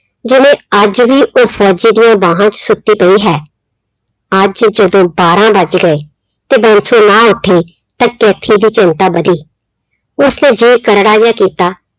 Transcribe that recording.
ਜਿਵੇਂ ਅੱਜ ਵੀ ਉਹ ਫ਼ੋਜ਼ੀ ਦੀਆਂ ਬਾਹਾਂ 'ਚ ਸੁੱਤੀ ਪਈ ਹੈ, ਅੱਜ ਜਦੋਂ ਬਾਰਾਂ ਵੱਜ ਗਏ, ਤੇ ਬਾਂਸੋ ਨਾ ਉੱਠੀ ਤਾਂ ਕੈਥੀ ਦੀ ਚਿੰਤਾ ਵਧੀ, ਉਸਨੇ ਜੀਅ ਕਰੜਾ ਜਿਹਾ ਕੀਤਾ।